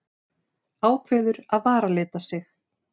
Ákveður að varalita sig.